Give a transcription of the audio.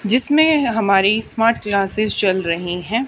जिसमें हमारी smart classes चल रही है।